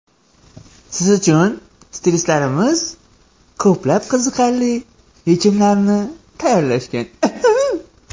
Siz uchun stilistlar ko‘plab qiziqarli yechimlarni tayyorlashgan.